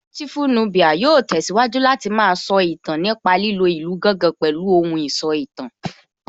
Beautiful Nubia yóò tẹ̀síwájú Láti má a sọ ìtàn nípa lílo ìlù gángan pẹ̀lú ohùn ìsọ̀tàn